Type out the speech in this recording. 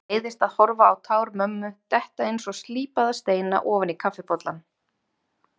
Leiðist að horfa á tár mömmu detta einsog slípaða steina ofan í kaffibollann.